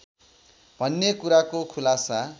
भन्ने कुराको खुलासा